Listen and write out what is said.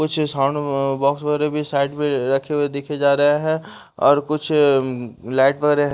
कुछ sound box वगैरह भी साइड में रखे हुए दिखे जा रहे हैं और कुछ लाइट वगैरह --